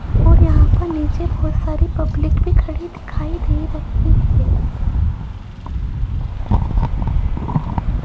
और यहां पर नीचे बहोत सारी पब्लिक भी खड़ी दिखाई दे रही है।